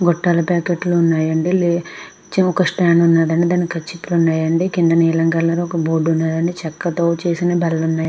బట్టలతో అండి చిన్న కొష్టం తో కింద నీలం కలర్ లో ఒక బోర్డు ఉన్నాయా అండి ఉన్నాయి అండి చెక్క తో చేసిన --